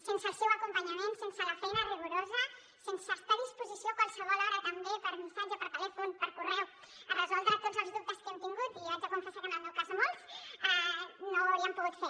sense el seu acompanyament sense la feina rigorosa sense estar a disposició a qualsevol hora també per missatge per telèfon per correu per resoldre tots els dubtes que hem tingut i jo haig de confessar que en el meu cas són molts no ho hauríem pogut fer